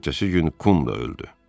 Ertəsi gün Kum da öldü.